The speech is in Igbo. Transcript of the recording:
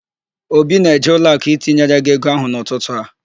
Obi na-eje ụlọakụ itinyere gị ego ahụ n'ụtụtụ a.